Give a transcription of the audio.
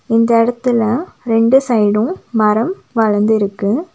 இந்த எடத்துல ரெண்டு சைடுஉம் மரம் வளந்திருக்கு.